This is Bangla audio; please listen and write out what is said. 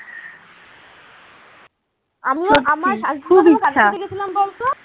আমিও আমার গেছিলাম বলতো